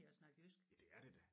Ja det er det da